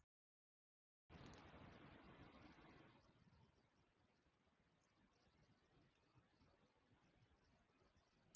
Lillý Valgerður: En hvað með Sjálfstæðisflokkinn?